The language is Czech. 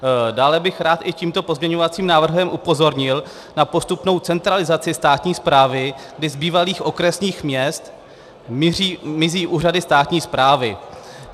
Dále bych rád i tímto pozměňovacím návrhem upozornil na postupnou centralizaci státní správy, kdy z bývalých okresních měst mizí úřady státní správy.